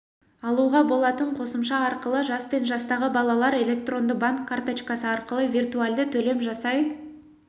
алуға болатын қосымша арқылы жас пен жастағы балалар электронды банк карточкасы арқылы виртуальды төлем жасай